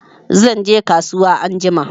Zanje kasuwa anjima